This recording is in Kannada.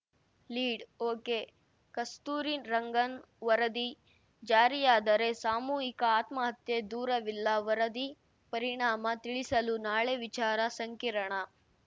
ಲೀಡ್‌ ಒಕೆಕಸ್ತೂರಿರಂಗನ್‌ ವರದಿ ಜಾರಿಯಾದರೆ ಸಾಮೂಹಿಕ ಆತ್ಮಹತ್ಯೆ ದೂರವಿಲ್ಲ ವರದಿ ಪರಿಣಾಮ ತಿಳಿಸಲು ನಾಳೆ ವಿಚಾರ ಸಂಕಿರಣ